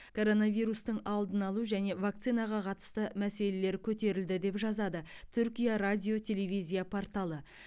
коронавирустың алдын алу және вакцинаға қатысты мәселелер көтерілді деп жазады түркия радио телевизия порталы